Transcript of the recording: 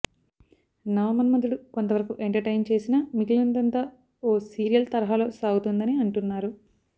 నవమన్మధుడు కొంతవరకు ఎంటర్టైన్ చేసినా మిగిలినదంతా ఓ సీరియల్ తరహాలో సాగుతుందని అంటున్నారు